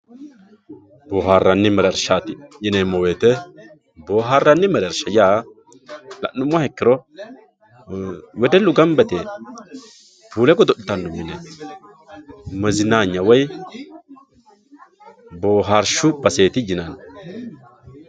boohaarranni mereershshaati yaa boohaarranni mereerishsha la'nummoha ikkiro wedellu gamba yite puule godo'litanno mine mezinaanya woy boohaarshshu baseeti yinanni